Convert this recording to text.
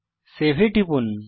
save এ টিপুন